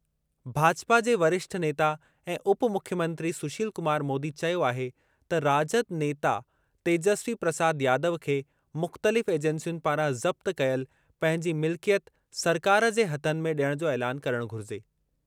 भाजपा जे वरिष्ठ नेता ऐं उप मुख्यमंत्री सुशील कुमार मोदी चयो आहे त राजद नेता तेजस्वी प्रसाद यादव खे मुख़्तलिफ़ एजेंसियुनि पारां ज़ब्त कयल पंहिंजी मिल्कियत सरकार जे हथनि में ॾियणु जो ऐलानु करणु घुरिजे।